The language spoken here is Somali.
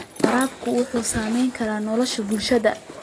Waraabku wuxuu saamayn karaa nolosha bulshada.